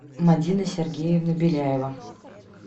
мадина сергеевна беляева